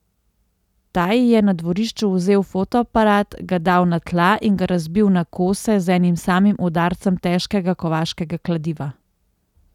Ta ji je na dvorišču vzel fotoaparat, ga dal na tla in ga razbil na kose z enim samim udarcem težkega kovaškega kladiva.